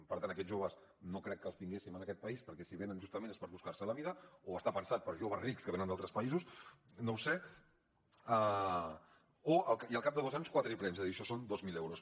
per tant aquests joves no crec que els tinguéssim en aquest país perquè si venen justament és per buscar se la vida o està pensat per a joves rics que venen d’altres països no ho sé i al cap de dos anys quatre iprems és a dir això són dos mil euros